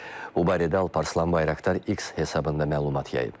Bu barədə Alparslan Bayraqdar X hesabında məlumat yayıb.